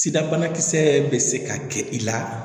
Sida banakisɛ bɛ se ka kɛ i la